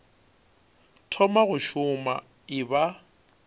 thoma go šoma e ba